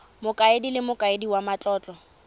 mokaedi le mokaedi wa matlotlo